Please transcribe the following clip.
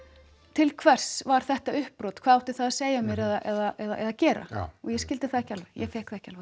til hvers var þetta uppbrot hvað átti það að segja mér eða gera og ég skildi það ekki alveg ég fékk það ekki